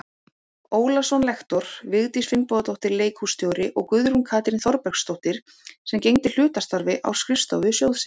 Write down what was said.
Ólason lektor, Vigdís Finnbogadóttir leikhússtjóri og Guðrún Katrín Þorbergsdóttir sem gegndi hlutastarfi á skrifstofu sjóðsins.